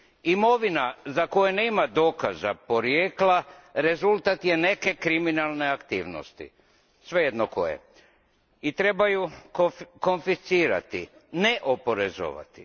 Imovina za koje nema dokaza porijekla rezultat je neke kriminalna aktivnosti, svejedno koje, i treba ju konfiscirati, ne oporezovati.